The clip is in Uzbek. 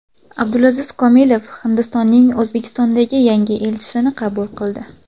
Abdulaziz Komilov Hindistonning O‘zbekistondagi yangi elchisini qabul qildi.